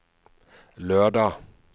lørdag